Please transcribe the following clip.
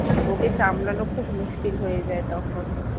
ওকে সামলানো খুব মুশকিল হয়ে যায় তখন